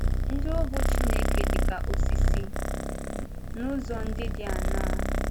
Ndị Ohu Chineke Dị Ka Osisi — N’ụzọ Ndị Dị Aṅaa?